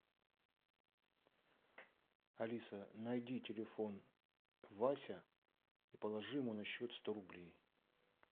алиса найди телефон вася и положи ему на счет сто рублей